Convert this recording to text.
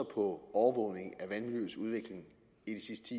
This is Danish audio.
overvågning af vandmiljøets udvikling